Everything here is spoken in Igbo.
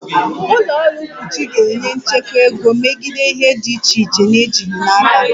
Ụlọ ọrụ mkpuchi ga-enye nchekwa ego megide ihe dị iche iche na-ejighị n'aka